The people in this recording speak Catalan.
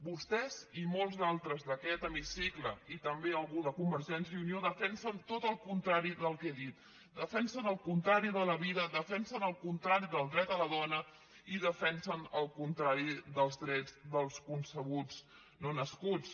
vostès i molts d’altres d’aquest hemicicle i també algú de convergència i unió defensen tot el contrari del que he dit defensen el contrari de la vida defensen el contrari del dret de la dona i defensen el contrari dels drets dels concebuts no nascuts